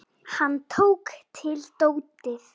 Hann tók til dótið.